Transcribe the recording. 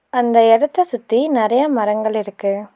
அந்த எடத்த சுத்தி நெறைய மரங்கள் இருக்கு.